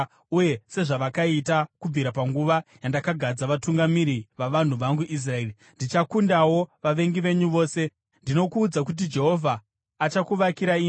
uye sezvavakaita kubvira panguva yandakagadza vatungamiri vavanhu vangu Israeri. Ndichakundawo vavengi venyu vose. “ ‘Ndinokuudza kuti Jehovha achakuvakira imba: